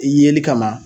Yeli kama